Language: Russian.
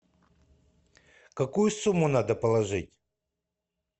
какую сумму надо положить